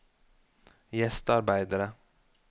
gjestearbeidere